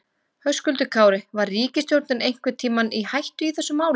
Höskuldur Kári: Var ríkisstjórnin einhvern tímann í hættu í þessu máli?